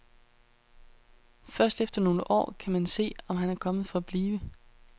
Først efter nogle år kan man se, om han er kommet for at blive.